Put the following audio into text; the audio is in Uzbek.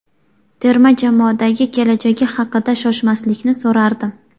Terma jamoadagi kelajagi haqida Shoshmaslikni so‘rardim.